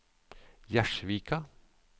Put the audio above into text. Gjerdsvika